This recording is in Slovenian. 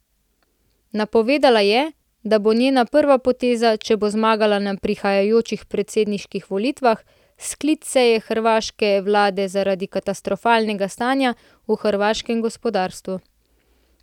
Napovedala je, da bo njena prva poteza, če bo zmagala na prihajajočih predsedniških volitvah, sklic seje hrvaške vlade zaradi katastrofalnega stanja v hrvaškem gospodarstvu.